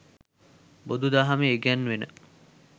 බුදුදහමේ ඉගැන්වෙන